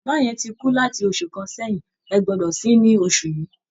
Bàbá yẹn ti kú láti oṣù kan sẹ́yìn, ẹ gbọ́dọ̀ sin-ín ní oṣù yìí!